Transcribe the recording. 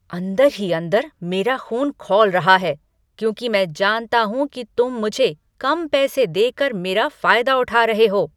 अंदर ही अंदर मेरा ख़ून खौल रहा है क्योंकि मैं जानता हूँ कि तुम मुझे कम पैसे देकर मेरा फायदा उठा रहे हो।